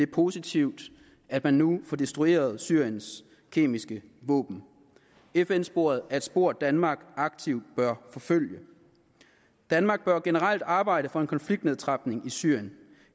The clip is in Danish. positivt at man nu får destrueret syriens kemiske våben fn sporet er et spor danmark aktivt bør forfølge danmark bør generelt arbejde for en konfliktnedtrapning i syrien